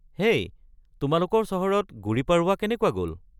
হেই, তোমালোকৰ চহৰত গুড়ী পড়ৱা কেনেকুৱা গ’ল?